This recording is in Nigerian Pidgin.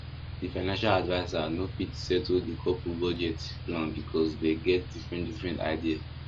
the financial adviser no fit settle the couple budget plan because dem get different different idea